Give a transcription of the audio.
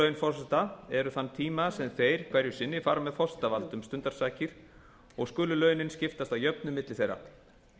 laun forseta eru þann tíma sem þeir hverju sinni fara með forsetavald um stundarsakir og skulu launin skiptast að jöfnu á milli þeirra